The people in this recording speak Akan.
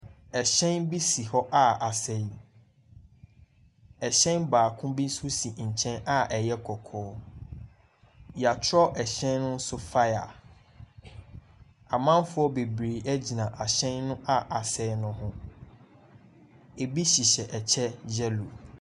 Ɛhyɛn bi si hɔ a asɛe. Ɛhyɛn baako bi nso si kyɛn a ɛyɛ kɔkɔɔ. Wɔatwerɛ ɛhyɛn no so fire. Amanfoɔ bebree gyina ahyɛn no a asɛe no ho. Ɛbi hyehyɛ ɛkyɛ yellow.